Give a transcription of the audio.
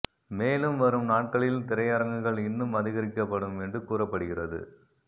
மேலும் வரும் நாட்களில் திரையரங்குகள் இன்னும் அதிகரிக்க படும் என்று கூறப்படுகிறது